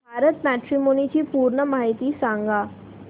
Bharat matrimony ची पूर्ण माहिती सांगा